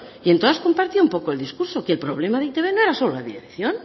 y en todas compartía un poco el discurso que el problema de e i te be no era solo la dirección